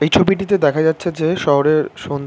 এই ছবিটিতে দেখা যাচ্ছে যে শহরের সন্ ।